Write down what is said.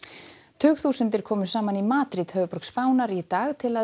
tugþúsundir komu saman í Madríd höfuðborg Spánar í dag til að